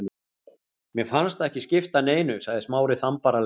Mér fannst það ekki skipta neinu- sagði Smári þumbaralega.